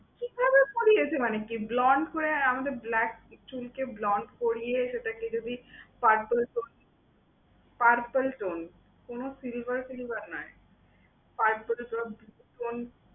কি করে করিয়েছে মানে কি? Blonde করে, আর আমাদের black চুলকে blonde করিয়ে সেটাকে যদি purple tone purple tone, কোন silver silver নয় purple tone~ tone